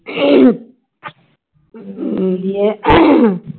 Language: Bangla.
দিয়ে